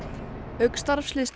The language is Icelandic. auk starfsliðs